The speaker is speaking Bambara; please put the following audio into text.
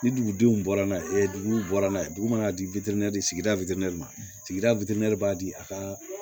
Ni dugudenw bɔra n'a ye duguw bɔra n'a ye dugu mana di wana di sigida witini ma sigida b'a di a ka